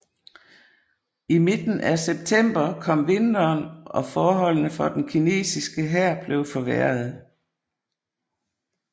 I midten af september kom vinteren og forholdene for den kinesiske hær blev forværrede